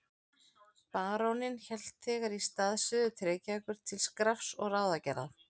Baróninn hélt þegar í stað suður til Reykjavíkur til skrafs og ráðagerða.